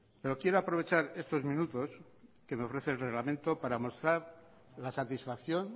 pero quiero aprovechar estos minutos que me ofrece el reglamento para mostrar la satisfacción